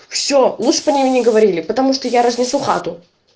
все лучше б они мне не говорили потому что я разнесу хату